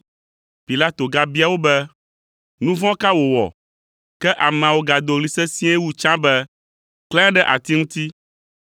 Pilato gabia wo be, “Nu vɔ̃ ka wòwɔ?” Ke ameawo gado ɣli sesĩe wu tsã be, “Klãe ɖe ati ŋuti!”